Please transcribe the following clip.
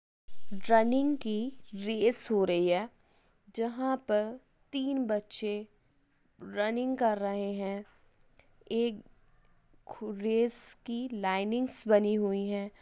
Running की race हो रही है जहाँ पर तीन बच्चे रनिंग कर रहे हैं। एक खू रेस कि लाइनिंगस बनी हुई है।